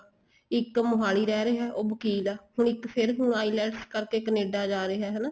ਇੱਕ ਮੋਹਾਲੀ ਰਹਿ ਰਿਹਾ ਉਹ ਵਕ਼ੀਲ ਆ ਹੁਣ ਇੱਕ ਫ਼ੇਰ ਹੁਣ IELTS ਕਰਕੇ Canada ਜਾ ਰਿਹਾ ਹੈਨਾ